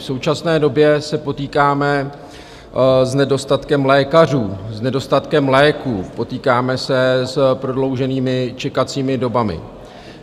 V současné době se potýkáme s nedostatkem lékařů, s nedostatkem léků, potýkáme se s prodlouženými čekacími dobami.